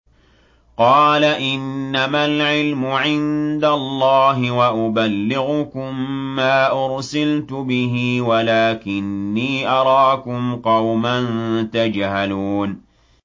قَالَ إِنَّمَا الْعِلْمُ عِندَ اللَّهِ وَأُبَلِّغُكُم مَّا أُرْسِلْتُ بِهِ وَلَٰكِنِّي أَرَاكُمْ قَوْمًا تَجْهَلُونَ